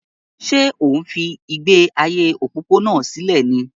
Ṣé ò ń fi ìgbé ayé òpópónà sílẹ̀ ni?